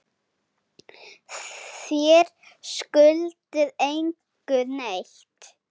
Þér skuldið engum neitt.